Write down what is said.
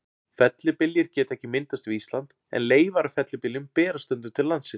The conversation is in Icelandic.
Fellibyljir geta ekki myndast við Ísland, en leifar af fellibyljum berast stundum til landsins.